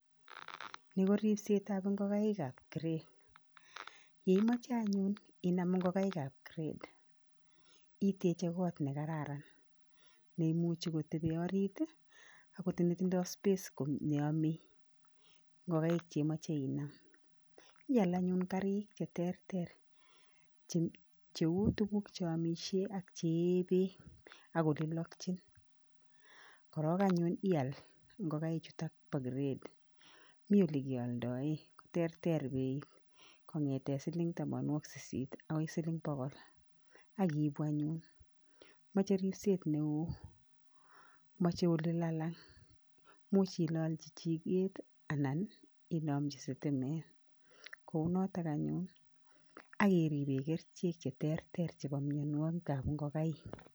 Ni ko ripsetap ngokaikap grade. Yeimoche anyun inam ngokaikap grade iteche kot nekararan neimuchi kotebi orit, akot netindoi space neyome ngokaik cheimoche inam. Ial anyun karik cheterter cheu tuguk cheomisie ak cheyee beek ak olelokchin. Korok anyun ial ngukaichuto bo grade mi olekealdoe, koterter beit kong'ete siling tamanwokik sisit akoi siling bokol ak iibu anyun .Moche ripset neo, moche olelalang, much ilolchi chiket anan inomchi sitimet. Kou noto anyun akiribe kerichek cheterter chepo mienwokikap ngokaik.